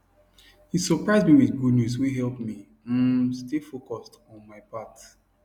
he surprise me with good news wey help me um stay focused on my path